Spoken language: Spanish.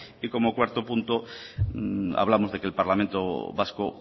y como cuarto punto hablamos de que el parlamento vasco